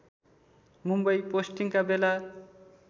मुम्बई पोस्टिङका बेला